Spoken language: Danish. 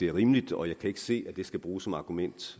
er rimeligt og jeg kan ikke se at det skal bruges som argument